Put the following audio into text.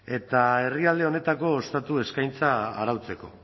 eta herrialde honetako ostatu eskaintza arautzeko